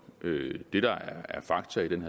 til den